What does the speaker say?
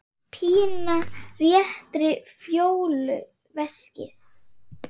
Pína réttir Fjólu veskið.